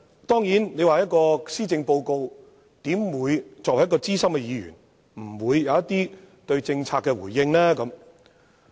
對於施政報告，我作為資深議員，怎會對種種政策沒有回應？